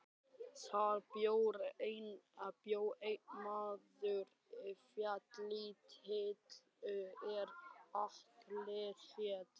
Þar bjó einn maður félítill er Atli hét.